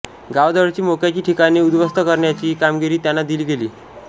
गावाजवळची मोक्याची ठिकाणे उद्ध्वस्त करण्याची कामगिरी त्याना दिली गेली